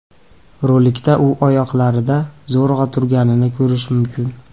Rolikda u oyoqlarida zo‘rg‘a turganini ko‘rish mumkin.